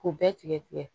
K'u bɛɛ tigɛ tigɛ